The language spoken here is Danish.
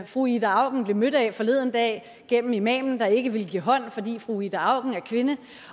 fru ida auken blev mødt af forleden dag gennem imamen der ikke ville give hånd fordi fru ida auken er kvinde